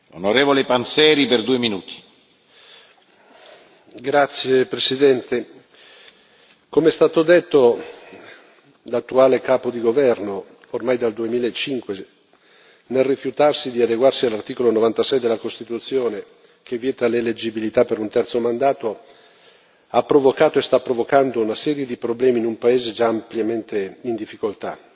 Signor Presidente, onorevoli colleghi, come è stato detto, l'attuale capo di governo, ormai dal 2005, nel rifiutarsi di adeguarsi all'articolo 96 della Costituzione che vieta l'eleggibilità per un terzo mandato, ha provocato e sta provocando una serie di problemi in un paese già ampiamente in difficoltà.